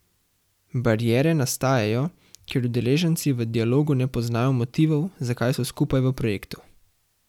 Bariere nastajajo, ker udeleženci v dialogu ne poznajo motivov, zakaj so skupaj v projektu.